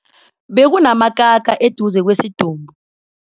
Bekunamakaka eduze kwesidumbu.